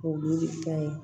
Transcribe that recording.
K'o delili kɛ